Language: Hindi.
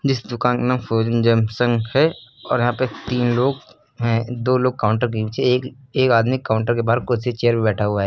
इस दुकान का नाम फ्रॉजेन जंक्शन है औऱ यहाँ पे तीन लोग हैं दो लोग काउंटर के नीचे एक एक आदमी काउंटर के बाहर कुर्सी चेयर पर बैठा हुआ है।